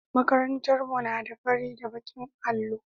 Makarantar mu na da fari da baƙin allo.